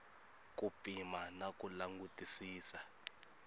ku pima na ku langutisisa